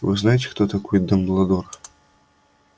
вы знаете кто такой дамбладор